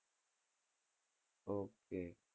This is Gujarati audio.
ok